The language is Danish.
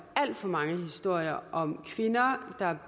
alt for mange historier om kvinder der